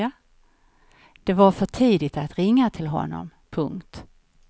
Det var för tidigt att ringa till honom. punkt